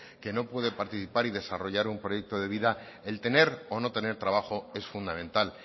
que no puede participar y desarrollar un proyecto de vida el tener o no tener trabajo es fundamental